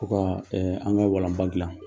U ka ɛɛ an ka walanba gilan.